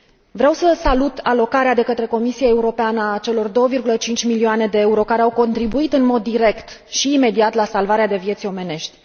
Vreau să salut alocarea, de către Comisia Europeană, a celor 2,5 milioane de euro, care au contribuit în mod direct și imediat la salvarea de vieți omenești.